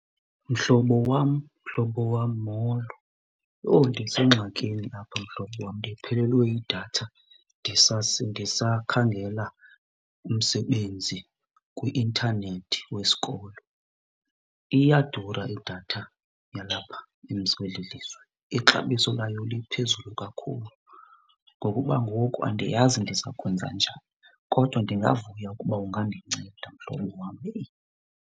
Mhlobo wam, mhlobo wam, molo. Yho ndisengxakini apha mhlobo wam ndiphelelwe yidatha ndisakhangela umsebenzi kwi-intanethi wesikolo. Iyadura idatha yalapha kweli lizwe, ixabiso layo liphezulu kakhulu. Ngokuba ngoku andiyazi ndiza kwenza njani, kodwa ndingavuya ukuba ungandinceda mhlobo wam heyi.